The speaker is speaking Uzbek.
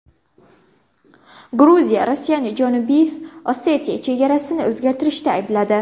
Gruziya Rossiyani Janubiy Osetiya chegarasini o‘zgartirishda aybladi.